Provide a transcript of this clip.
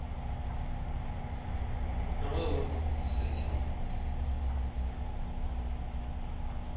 а мы вот тут с этим